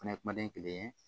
Fana ye kumaden kelen ye